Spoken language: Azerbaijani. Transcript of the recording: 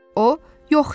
O, yox, deyirdi.